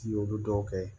I y'olu dɔw kɛ